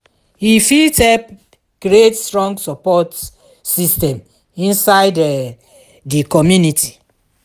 e fit help create strong sopport system inside um di community.